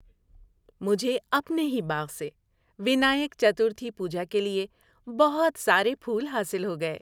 مجھے اپنے ہی باغ سے ونائیک چترتھی پوجا کے لیے بہت سارے پھول حاصل ہو گئے۔